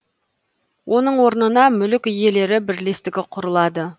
оның орнына мүлік иелері бірлестігі құрылады